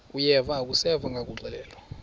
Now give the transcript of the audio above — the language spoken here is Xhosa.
uyeva akuseva ngakuxelelwa